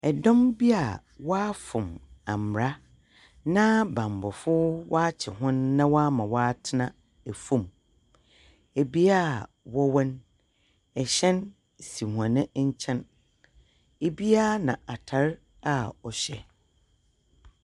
Dɔm bi a wɔafom mbra, na banbɔfoɔ wɔakye hɔn na wɔama hɔn atsena famu. Bea a wɔwɔ no, ɛhyɛn si hɔn nkyɛn. Biara na atar a ɔhyɛ.